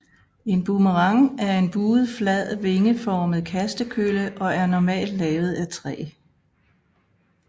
En boomerang er en buet flad vingeformet kastekølle og er normalt lavet af træ